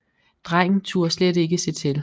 Drengen turde slet ikke se til